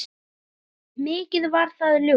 Mikið var það ljúft.